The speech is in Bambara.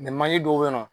manje dɔw be yen nɔ